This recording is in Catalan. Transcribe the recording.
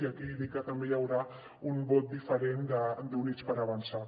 i aquí dir que també hi haurà un vot diferent d’units per avançar